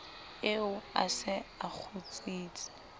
eo a se a kgutsitse